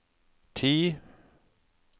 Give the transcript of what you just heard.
ti